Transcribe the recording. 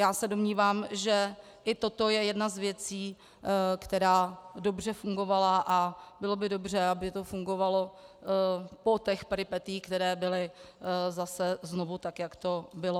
Já se domnívám, že i toto je jedna z věcí, která dobře fungovala, a bylo by dobře, aby to fungovalo po těch peripetiích, které byly zase znovu, tak jak to bylo.